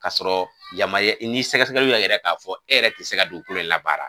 Ka sɔrɔ yama ye ni sɛgɛsɛgɛliw y'a yira k'a fɔ e yɛrɛ tɛ se ka dugukolo in labaa.